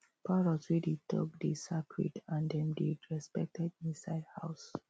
parrot wey dey talk dey sacred and dem dey respected inside house